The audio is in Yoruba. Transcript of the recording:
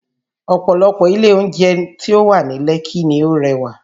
Ọ̀pọ̀lọpọ̀ ilé oúnjẹ tí ó wà ní Lekki ni ó rẹwà